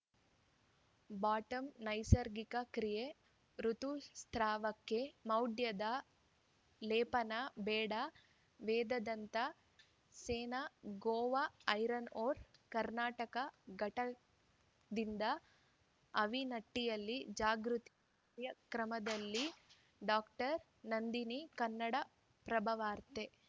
bottom ನೈಸರ್ಗಿಕ ಕ್ರಿಯೆ ಋುತುಸ್ರಾವಕ್ಕೆ ಮೌಢ್ಯದ ಲೇಪನ ಬೇಡ ವೇದಾಂತ ಸೇಸ ಗೋವಾ ಐರನ್‌ ಓರ್‌ನ ಕರ್ನಾಟಕ ಘಟಕದಿಂದ ಆವಿನಟ್ಟಿಯಲ್ಲಿ ಜಾಗೃತಿ ರ್ಯಕ್ರಮದಲ್ಲಿ ಡಾಕ್ಟರ್ ನಂದಿನಿ ಕನ್ನಡಪ್ರಭವಾರ್ತೆ